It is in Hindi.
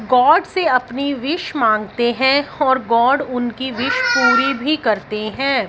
गॉड से अपनी विश मांगते हैं और गॉड उनकी विश पूरी भी करते हैं।